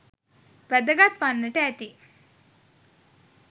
වැදගත් වන්නට ඇති